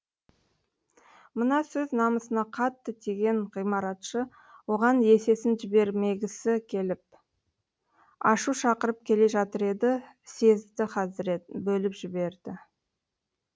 мына сөз намысына қатты тиген ғымаратшы оған есесін жібермегісі келіп ашу шақырып келе жатыр еді сезді хазірет бөліп жіберді